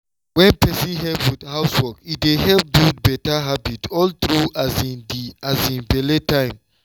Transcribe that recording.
wen person help with housework e dey help build better habit all through um di um belle time.